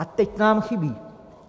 A teď nám chybí!